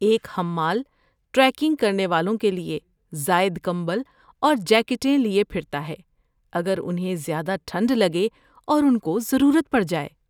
ایک حمال ٹریکنگ کرنے والوں کے لیے زائد کمبل اور جیکٹیں لیے پھرتا ہے اگر انہیں زیادہ ٹھنڈ لگے اور ان کو ضرورت پڑ جائے۔